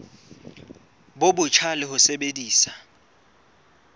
bo botjha le ho sebedisa